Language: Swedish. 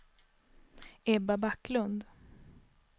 Ebba Backlund